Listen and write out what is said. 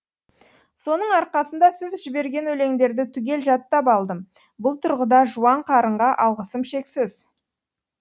соның арқасында сіз жіберген өлеңдерді түгел жаттап алдым бұл тұрғыда жуан қарынға алғысым шексіз